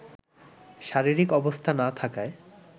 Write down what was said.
শারীরিক অবস্থা না থাকায়